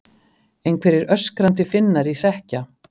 Einhverjir öskrandi Finnar í hrekkja